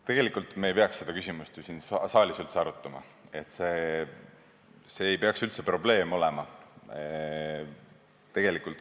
Tegelikult ei peaks me seda küsimust ju siin saalis üldse arutama, see ei peaks üldse probleem olema.